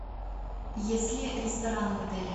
есть ли рестораны в отеле